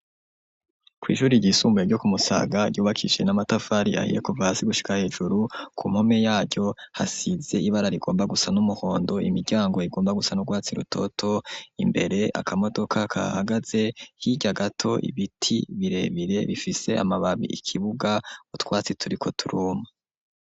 Kw'ishuri ryisumbuye vyo kumusaga ryubakishe n'amatafari ahiyekova si gushika hejuru ku mome yaryo hasize ibara rigomba gusa n'umuhondo imiryango igomba gusa n'urwatsi rutoto imbere akamodoka kahagaze hirya gato ibiti birebire bifise amababi ikibuga utwatsi turi ko turuma.